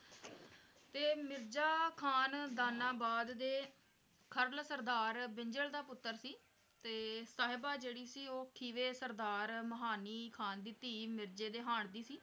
ਤੇ ਮਿਰਜ਼ਾ ਖ਼ਾਨ ਦਾਨਾਬਾਦ ਦੇ ਖਰਲ ਸਰਦਾਰ ਬਿੰਜਲ ਦਾ ਪੁੱਤਰ ਸੀ ਤੇ ਸਾਹਿਬਾਂ ਜਿਹੜੀ ਸੀ ਉਹ ਖੀਵਾ ਸਰਦਾਰ ਮਾਹਨੀ ਖ਼ਾਨ ਦੀ ਧੀ ਮਿਰਜ਼ੇ ਦੇ ਹਾਣ ਦੀ ਸੀ।